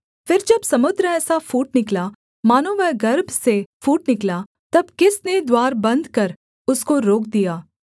फिर जब समुद्र ऐसा फूट निकला मानो वह गर्भ से फूट निकला तब किसने द्वार बन्द कर उसको रोक दिया